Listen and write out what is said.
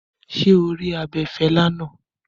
Ṣé o rí abẹ̀fẹ̀lẹ̀ náà?